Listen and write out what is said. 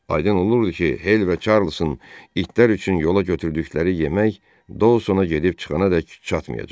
Aydın olurdu ki, Hel və Çarlsın itlər üçün yola götürdükləri yemək Dauna gedib çıxanadək çatmayacaq.